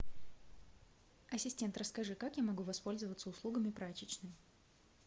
ассистент расскажи как я могу воспользоваться услугами прачечной